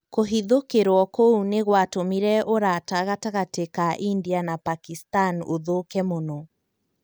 kũhithũkĩrwo ķũu nĩ gwatũmire ũrata gatagatĩ ka India na Pakistan ũthũke mũno.